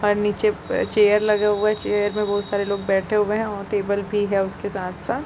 और नीचे चेयर लगे हुए है चेयर में बहुत सारे लोग बैठे हुए है और टेबल भी है उसके साथ - साथ --